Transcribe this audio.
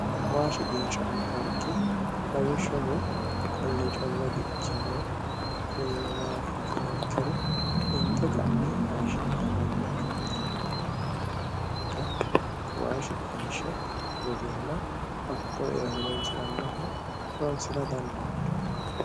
Waa shiqinshanni dargi lawishshaho konne calla dikkino kunino maati yitiniha ikkiro kunino maati yitiniha ikkiro inte ka'ne hayishshi'nanni darga shumate mine ofollinay darga waa shiqinhe worreenna worreenna horonsirannonno hatto e'e horonsira dandaanno.